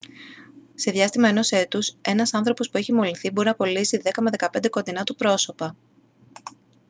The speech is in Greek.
σε διάστημα ενός έτους ένας άνθρωπος που έχει μολυνθεί μπορεί να κολλήσει 10 με 15 κοντινά του πρόσωπα